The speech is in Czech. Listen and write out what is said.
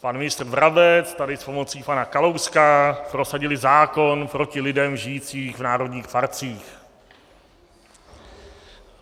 Pan ministr Brabec tady s pomocí pana Kalouska prosadili zákon proti lidem žijícím v národních parcích.